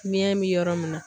Biɲɛ bi yɔrɔ min na